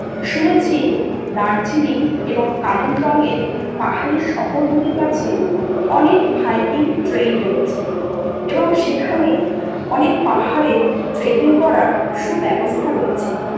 শুনেছি দার্জিলিং এবং কালিম্পংয়ের পাহাড়ি শহরগুলির কাছে অনেক Hiking Trail রয়েছে এবং সেখানে অনেক পাহাড়ে Trekking করার সুব্যবস্থা রয়েছে।